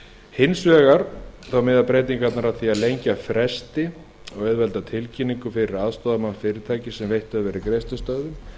hins vegar miða breytingarnar að því að lengja fresti og auðvelda tilkynningu fyrir aðstoðarmann fyrirtækis sem veitt hefur verið greiðslustöðvun